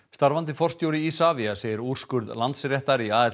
starfandi forstjóri Isavia segir úrskurð Landsréttar í